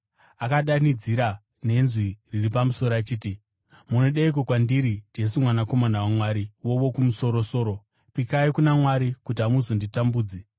Akadanidzira nenzwi riri pamusoro achiti, “Munodeiko kwandiri, Jesu, Mwanakomana waMwari Wokumusoro-soro? Pikai kuna Mwari kuti hamuzonditambudzi!”